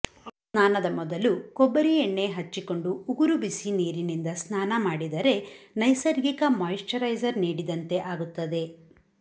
ಸ್ನಾನದ ಮೊದಲು ಕೊಬ್ಬರಿ ಎಣ್ಣೆ ಹಚ್ಚಿಕೊಂಡು ಉಗುರು ಬಿಸಿ ನೀರಿನಿಂದ ಸ್ನಾನ ಮಾಡಿದರೆ ನೈಸರ್ಗಿಕ ಮಾಯಿಶ್ಚರೈಸರ್ ನೀಡಿದಂತೆ ಆಗುತ್ತದೆ